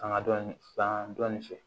Fanga dɔ san dɔɔnin fɛ